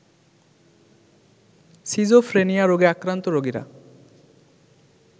schizophrenia রোগে আক্রান্ত রোগীরা